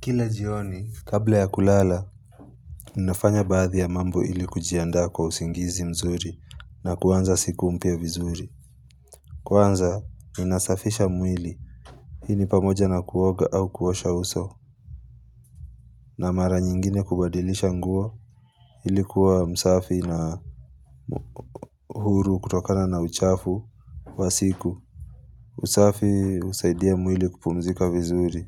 Kila jioni, kabla ya kulala Ninafanya baadhi ya mambo ili kujiaanda kwa usingizi mzuri na kuanza siku mpya vizuri Kwanza, ninasafisha mwili Hii ni pamoja na kuoga au kuosha uso na mara nyingine kubadilisha nguo ili kuwa msafi na huru kutokana na uchafu wa siku usafi husaidia mwili kupumzika vizuri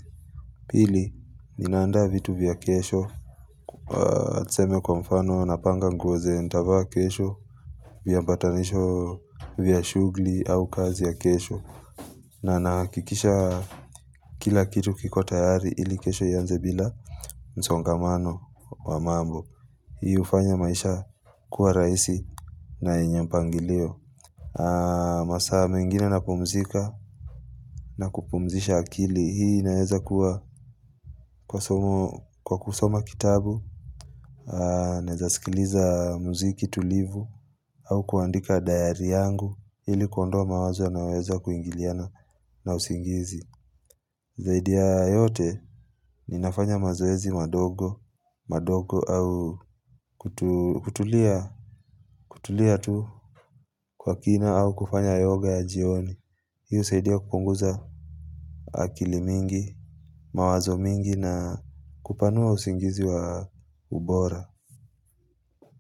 Pili, ninaanda vitu vya kesho Tuseme kwa mfano napanga nguo zenye nitavaa kesho Viambatanisho vya shughuli au kazi ya kesho na nahakikisha kila kitu kiko tayari ili kesho ianze bila msongamano wa mambo Hii hufanya maisha kuwa rahisi na yenye mpangilio masaa mengina napumzika na kupumzisha akili hii inaweza kuwa Kwa kusoma kitabu Naweza sikiliza muziki tulivu au kuandika dayari yangu ili kuondoa mawazo yanayoweza kuingiliana na usingizi Zaidi ya yote ninafanya mazoezi madogo madogo au kutulia kutulia tu kwa kina au kufanya yoga ya jioni Hii husaidia kupunguza akili mingi mawazo mingi na kupanua usingizi wa ubora.